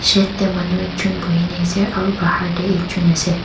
Shade tey manu ekjun buhi na ase aro bahar tey ekjun ase.